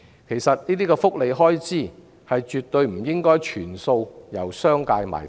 其實，這些福利開支絕對不應該全數由商界"埋單"。